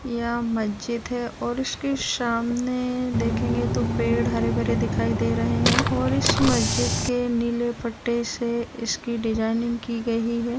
यह मस्जिद है और उसके सामने देखेंगे तो पेड़ हरे-भरे दिखाई दे रहे हैं और इस मस्जिद के नीले पट्टे से इसकी डिजाइनिंग की गई है।